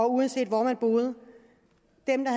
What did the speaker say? uanset hvor de boede